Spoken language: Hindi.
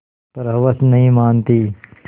पर हवस नहीं मानती